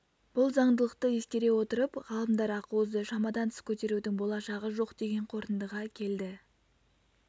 бұл заңдылықты ескере отырып ғалымдар ақуызды шамадан тыс көтерудің болашағы жоқ деген қорытындыға келді